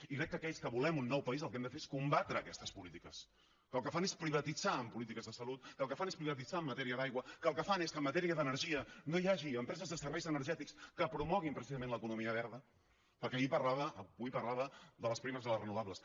i crec que aquells que volem un nou país el que hem de fer és combatre aquestes polítiques que el que fan és privatitzar en polítiques de salut que el que fan és privatitzar en matèria d’aigua que el que fan és que en matèria d’energia no hi hagi empreses de serveis energètics que promoguin precisament l’economia verda perquè avui parlava de les primes de les renovables